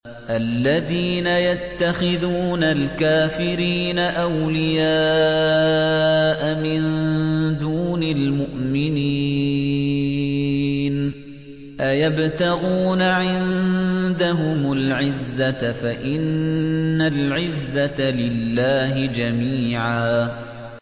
الَّذِينَ يَتَّخِذُونَ الْكَافِرِينَ أَوْلِيَاءَ مِن دُونِ الْمُؤْمِنِينَ ۚ أَيَبْتَغُونَ عِندَهُمُ الْعِزَّةَ فَإِنَّ الْعِزَّةَ لِلَّهِ جَمِيعًا